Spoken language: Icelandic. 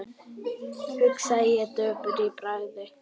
hugsaði ég döpur í bragði.